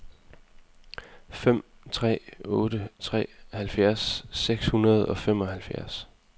fem tre otte tre halvfjerds seks hundrede og femoghalvfjerds